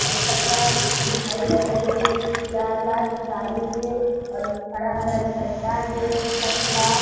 अच्छा-अच्छा मिठाई बनाइन हे खुशयार ला गाड़ी हे अउ हरा-हरा गन्ना हे पीला पीला --